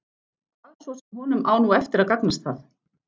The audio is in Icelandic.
Hvað svo sem honum á nú eftir að gagnast það.